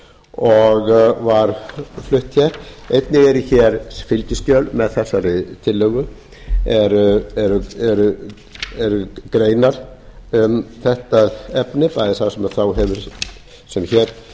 og var flutt einnig eru fylgiskjöl með þessari tillögu eru greinar um þetta efni það er það sem sá er hér